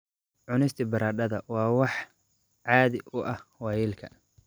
Cunista baradhada waa wax caadi u ah waayeelka.